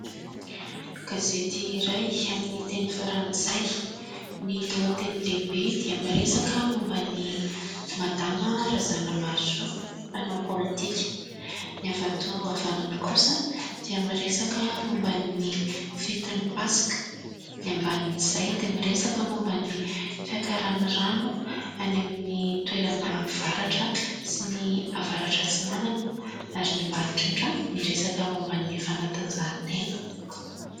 Gazety iray amin'ny teny frantsay ny lohateny lehibe dia miresaka momban'ny madama razanamahasoa mpanao politika ny avy ato avanana kosa dia miresaka momba ny fetin'ny paska ny ambanin'izay dia miresaka momban'ny fiakaran'ny rano any amin'ny toerana avaratra sy ny avaratra atsinanana ary ny ambany indrindra miresaka momba ny fanatanjahantena